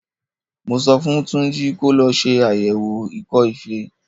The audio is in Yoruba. Mo sọ fún Júnjí kó lọ ṣe àyẹ̀wò ikọ́-ifẹ.